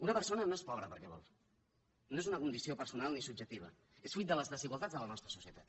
una persona no és pobres perquè vol no és una condició personal ni subjectiva és fruit de les desigualtats de la nostra societat